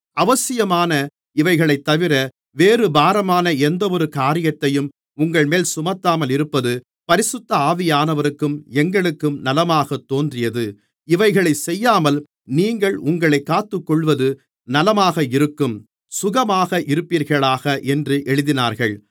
அவசியமான இவைகளைத்தவிர வேறு பாரமான எந்தவொரு காரியத்தையும் உங்கள்மேல் சுமத்தாமல் இருப்பது பரிசுத்த ஆவியானவருக்கும் எங்களுக்கும் நலமாகத் தோன்றியது இவைகளைச் செய்யாமல் நீங்கள் உங்களைக் காத்துக்கொள்ளுவது நலமாக இருக்கும் சுகமாக இருப்பீர்களாக என்று எழுதினார்கள்